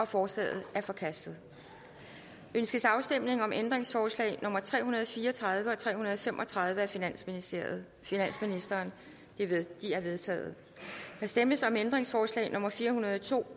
forslaget er forkastet ønskes afstemning om ændringsforslag nummer tre hundrede og fire og tredive og tre hundrede og fem og tredive af finansministeren finansministeren de er vedtaget der stemmes om ændringsforslag nummer fire hundrede og to